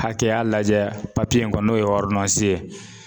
Hakɛya lajɛ papiye in kɔn n'o ye ye